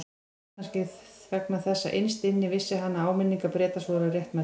Kannski vegna þess að innst inni vissi hann að áminningar Bretans voru réttmætar.